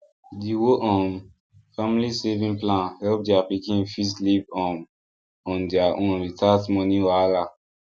the whole um family saving plan help their pikin fit live um on their own without money wahala